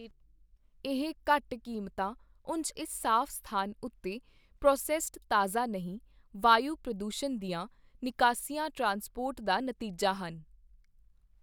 ਇਹ ਘੱਟ ਕੀਮਤਾਂ ਉਂਝ ਇਸ ਸਾਫ਼ ਸਥਾਨ ਉੱਤੇ ਪ੍ਰੋਸੈੱਸਡ ਤਾਜ਼ਾ ਨਹੀਂ, ਵਾਯੂ ਪ੍ਰਦੂਸ਼ਣ ਦੀਆਂ ਨਿਕਾਸੀਆਂ ਟ੍ਰਾਂਸਪੋਰਟ ਦਾ ਨਤੀਜਾ ਹਨ।